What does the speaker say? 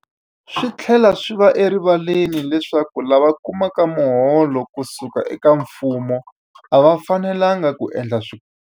Swi tlhela swi va erivaleni leswaku lava kumaka miholo ku suka eka mfumo a va fanelanga ku endla swikombelo.